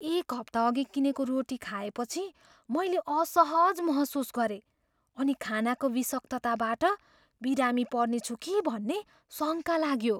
एक हप्ताअघि किनेको रोटी खाएपछि मैले असहज महसुस गरेँ अनि खानाको विषाक्तताबाट बिरामी पर्नेछु कि भन्ने शङ्का लाग्यो।